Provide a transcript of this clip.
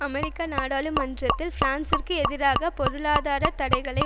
அமெரிக்க நாடாளுமன்றத்தில் பிரான்சிற்கு எதிராக பொருளாதார தடைகளை